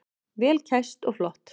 Vel kæst og flott.